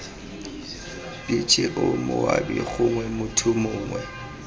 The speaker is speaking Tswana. bgo moabi gongwe motho mongwe